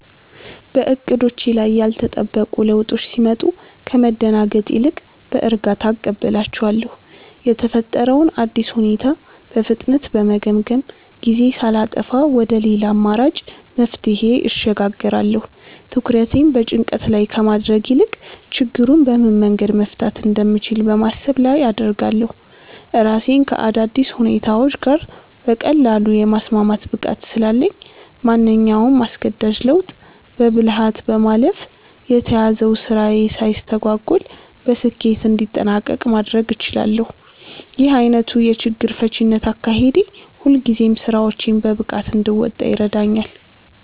በዕቅዶቼ ላይ ያልተጠበቁ ለውጦች ሲመጡ ከመደናገጥ ይልቅ በእርጋታ እቀበላቸዋለሁ። የተፈጠረውን አዲስ ሁኔታ በፍጥነት በመገምገም፣ ጊዜ ሳላጠፋ ወደ ሌላ አማራጭ መፍትሄ እሸጋገራለሁ። ትኩረቴን በጭንቀት ላይ ከማድረግ ይልቅ ችግሩን በምን መንገድ መፍታት እንደምችል በማሰብ ላይ አደርጋለሁ። ራሴን ከአዳዲስ ሁኔታዎች ጋር በቀላሉ የማስማማት ብቃት ስላለኝ፣ ማንኛውንም አስገዳጅ ለውጥ በብልሃት በማለፍ የተያዘው ስራዬ ሳይስተጓጎል በስኬት እንዲጠናቀቅ ማድረግ እችላለሁ። ይህ ዓይነቱ የችግር ፈቺነት አካሄዴ ሁልጊዜም ስራዎቼን በብቃት እንድወጣ ይረዳኛል።